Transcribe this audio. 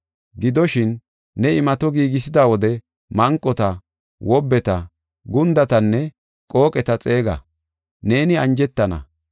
Gidoshin, ne imato giigisida wode manqota, wobbeta, gundatanne qooqeta xeega; neeni anjetana.